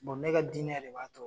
ne ka dinɛ de b'a to.